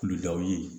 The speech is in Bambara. Kulu dɔw ye